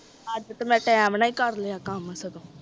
ਅੱਜ ਤਾ ਮੈਂ ਟੀਮ ਨਾਲ ਏ ਕਰ ਲਿਆ ਕਾਮ ਸਗੋਂ